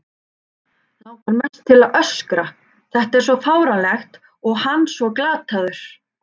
Langar mest til að öskra, þetta er svo fáránlegt og hann svo glataður.